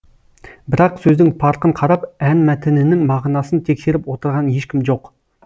бірақ сөздің парқын қарап ән мәтінінің мағынасын тексеріп отырған ешкім жоқ